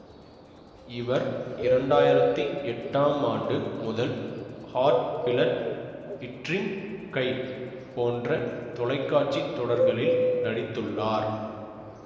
இவர் இரண்டாயிரத்தி எட்டாம் ஆண்டு முதல் ஹாட் பிளட் ட்ரீம் ஹை போன்ற தொலைக்காட்சி தொடர்களில் நடித்துள்ளார்